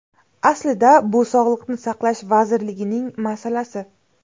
Aslida bu Sog‘liqni saqlash vazirligining masalasi.